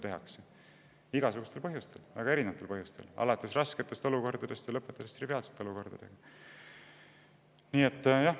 Tehakse igasugustel põhjustel, väga erinevatel põhjustel, alates rasketest olukordadest ja lõpetades triviaalsete olukordadega.